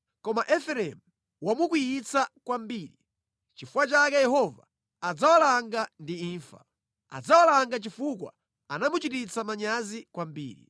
Koma Efereimu wamukwiyitsa kwambiri. Nʼchifukwa chake Yehova adzawalanga ndi imfa. Adzawalanga chifukwa anamuchititsa manyazi kwambiri.